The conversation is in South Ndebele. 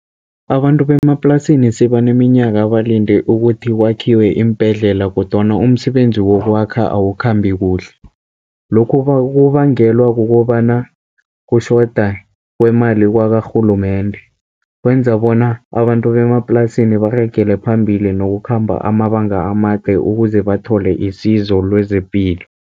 Abantu bemaplasini sebaneminyaka balinde ukuthi kwakhiwe iimbhedlela, kodwana umsebenzi wokwakha awukhambi kuhle. Lokhu kubangelwa kukobana kutjhoda kwemali kwakarhulumende, kwenza bona abantu bemaplasini baragele phambili nokukhamba amabanga amade, ukuze bathole isizo lezepilo.